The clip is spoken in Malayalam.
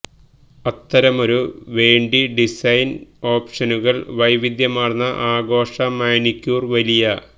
അത്തരമൊരു വേണ്ടി ഡിസൈൻ ഓപ്ഷനുകൾ വൈവിധ്യമാർന്ന ആഘോഷ മാനിക്യൂർ വലിയ